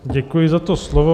Děkuji za to slovo.